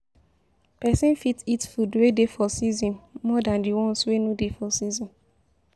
Person fit eat food wey dey for season more than di ones wey no dey for season